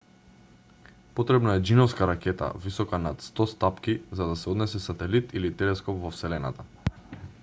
потребна е џиновска ракета висока над 100 стапки за да се однесе сателит или телескоп во вселената